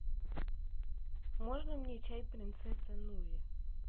можно мне чай принцесса нури